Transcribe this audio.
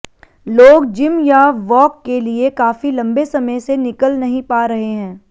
लोग जिम या वॉक के लिए काफी लंबे समय से निकल नहीं पा रहे हैं